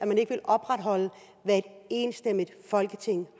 man ikke vil opretholde hvad et enstemmigt folketing